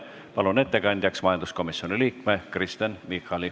Palun ettekandjaks majanduskomisjoni liikme Kristen Michali.